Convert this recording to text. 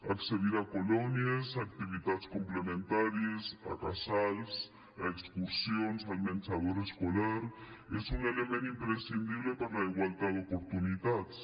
accedir a colònies activitats complementàries a casals a excursions al menjador escolar són un element imprescindible per a la igualtat d’oportunitats